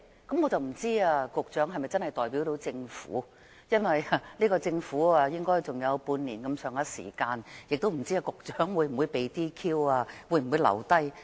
我不知道局長是否真的代表政府，因為這屆政府的餘下任期應只有大約半年，又不知道局長會否被 DQ 或可以留任。